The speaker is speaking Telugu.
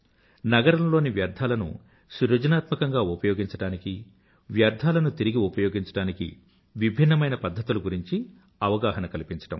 నగరంలోని వ్యర్థాలను సృజనాత్మకంగా ఉపయోగించడానికీ వ్యర్థాలను తిరిగి ఉపయోగించడానికీ విభిన్నమైన పధ్ధతుల గురించి అవగాహన కల్పించడం